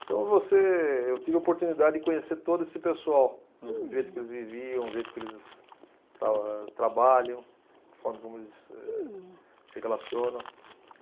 Então você, eu tive a oportunidade de conhecer todo esse pessoal. Uhum. O jeito que eles viviam, o jeito que eles tra, eh, trabalham, a forma como eles, êh, se relacionam.